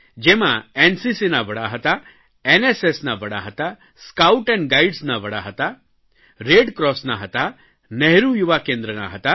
જેમાં એનસીસીના વડા હતા એનએસએસના વડા હતા સ્કાઉટ એન્ડ ગાઇડ્સના વડા હતા રેડક્રોસના હતા નહેરૂ યુવા કેન્દ્રના હતા